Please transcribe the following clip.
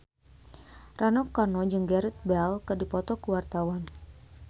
Rano Karno jeung Gareth Bale keur dipoto ku wartawan